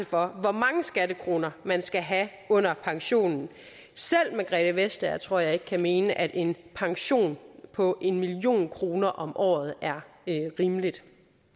for hvor mange skattekroner man skal have under pensionen selv margrethe vestager tror jeg ikke kan mene at en pension på en million kroner om året er rimelig